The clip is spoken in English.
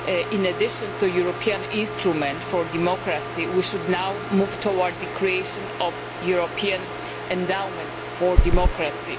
In addition to the European instrument for democracy we should now move towards the creation of a European endowment for democracy.